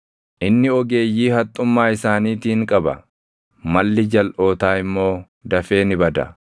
Inni ogeeyyii haxxummaa isaaniitiin qaba; malli jalʼootaa immoo dafee ni bada.